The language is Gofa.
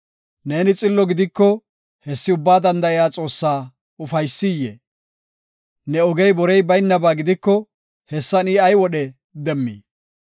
Neeni xillo gidiko hessi Ubbaa Danda7iya Xoossaa ufaysiyee? Ne ogey borey baynaba gidiko hessan I ay wodhe demmii?